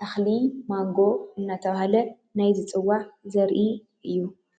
ተኽሊ ማንጎ እናተባህለ ናይ ዝፅዋዕ ዘርኢ እዩ።